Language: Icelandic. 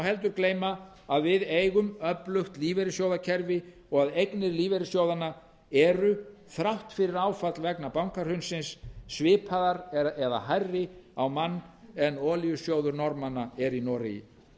heldur gleyma að við eigum öflugt lífeyrissjóðakerfi og að eignir lífeyrissjóðanna eru þrátt fyrir áfall vegna bankahrunsins svipaðar eða hærri á mann en olíusjóður norðmanna er í noregi þegar